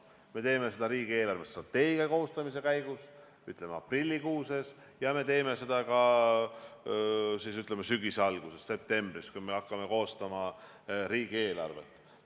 Me teeme seda riigi eelarvestrateegia koostamise käigus aprillikuus ja me teeme seda ka sügise alguses, septembris, kui me hakkame koostama riigieelarvet.